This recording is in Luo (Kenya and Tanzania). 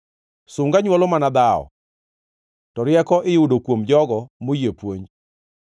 Sunga nywolo mana dhawo, to rieko iyudo kuom jogo moyie puonj.